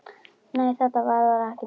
Nei, þetta verður ekki dýrara.